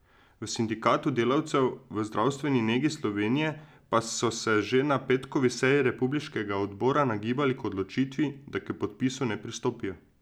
V Sindikatu delavcev v zdravstveni negi Slovenije pa so se že na petkovi seji republiškega odbora nagibali k odločitvi, da k podpisu ne pristopijo.